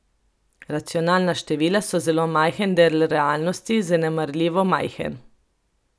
Racionalna števila so zelo majhen del realnosti, zanemarljivo majhen.